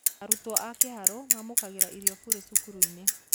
Arutwo a Kĩharũ maamũkagĩra irio burĩ cukuru -ini